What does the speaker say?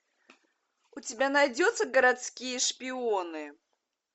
у тебя найдется городские шпионы